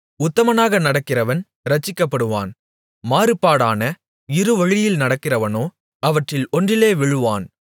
உத்தமனாக நடக்கிறவன் இரட்சிக்கப்படுவான் மாறுபாடான இருவழியில் நடக்கிறவனோ அவற்றில் ஒன்றிலே விழுவான்